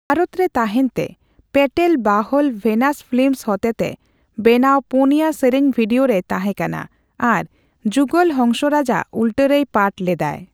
ᱵᱷᱟᱨᱚᱛᱨᱮ ᱛᱟᱦᱮᱸᱱᱛᱮ, ᱯᱮᱹᱴᱮᱞ ᱵᱟᱦᱚᱞ ᱵᱷᱮᱱᱟᱥ ᱯᱷᱤᱞᱤᱢᱥ ᱦᱚᱛᱮᱛᱮ ᱵᱮᱱᱟᱣ ᱯᱩᱱᱭᱟ ᱥᱮᱹᱨᱮᱹᱧ ᱵᱷᱤᱰᱤᱣᱳ ᱨᱮᱭ ᱛᱟᱦᱮᱸᱠᱟᱱᱟ ᱟᱨ ᱡᱩᱜᱚᱞ ᱦᱚᱝᱥᱚᱨᱟᱡᱽ ᱟᱜ ᱩᱞᱴᱟᱹ ᱨᱮᱭ ᱯᱟᱴᱷ ᱞᱮᱫᱟᱭ ᱾